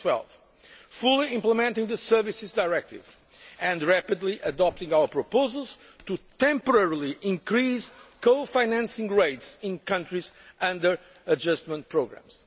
of 2012 fully implementing the Services Directive, and rapidly adopting our proposals to temporarily increase co financing rates in countries under adjustment programmes.